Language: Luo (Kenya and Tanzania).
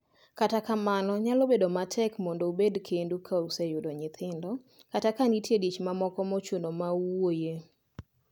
Kata kamano, nyalo bet matek mondo ubet kendu ka useyudo nyithindo, kata ka nitie dich mamoko mochuno ma uwuoye.